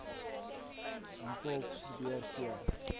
mpho probeer keer